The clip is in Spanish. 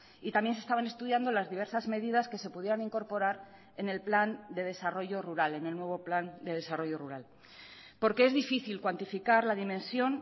y también se estaban estudiando las diversas medidas que se pudieran incorporar en el plan de desarrollo rural en el nuevo plan de desarrollo rural porque es difícil cuantificar la dimensión